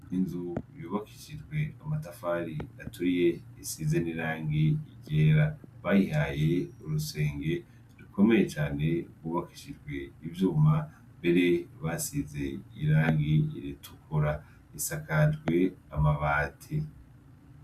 Inzu yubakishijwe amatafari aturiye isize n'irangi ryera. Bayihaye urusenge rukomeye cane rwubakishijwe ivyuma mbere basize irangi ritukura. Isakajwe amabati.